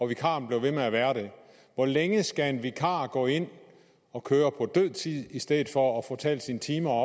vikaren blev ved med at være der hvor længe skal en vikar gå ind og køre på død tid i stedet for at få talt sine timer